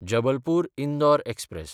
Jabalpur-Indore express